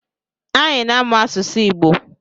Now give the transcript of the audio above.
Anyị na-amụ asụsụ Igbo